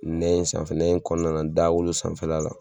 N'an y'o sanfɛ n'an y'o kɔnɔna da wolo sanfɛfɛ la